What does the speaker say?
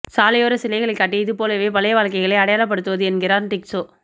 சாலையோர சிலைகளைக் காட்டி இது போலப் பழைய வாழ்க்கையை அடையாளப்படுத்துவது என்கிறான் டீக்சோ